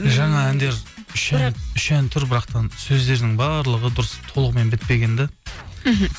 жаңа әндер үш ән тұр бірақтан сөздерінің барлығы дұрыс толығымен бітпеген де мхм